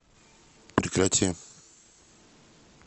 прекрати